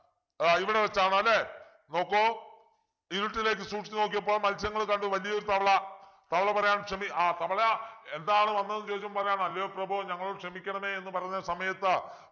ആഹ് ഇവിടെവച്ചാണ് അല്ലെ നോക്കു ഇരുട്ടിലേക്ക് സൂക്ഷിച്ചു നോക്കിയപ്പോൾ മൽസ്യങ്ങൾ കണ്ടു വലിയൊരു തവള തവള പാറയാണ് ക്ഷമി ആഹ് തവള എന്താണ് വന്നതെന്ന് ചോദിച്ചപ്പോൾ പറയുകയാണ് അല്ലയോ പ്രഭോ ഞങ്ങളോട് ക്ഷമിക്കണമേ എന്ന് പറഞ്ഞ സമയത്ത്